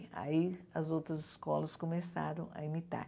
Aí as outras escolas começaram a imitar.